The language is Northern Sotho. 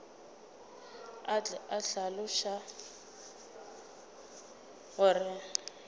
a tle a hlaloše gore